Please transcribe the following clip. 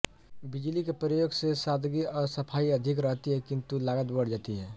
बिजली के प्रयोग से सादगी और सफाई अधिक रहती है किंतु लागत बढ़ जाती है